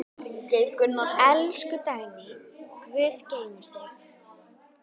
Elsku Dagný, Guð geymi þig.